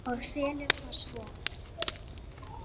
Og selurðu það svo?